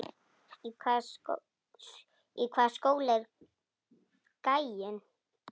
Í hvaða skóla er gæinn?